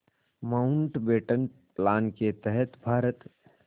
Mountbatten plan के तहत भारत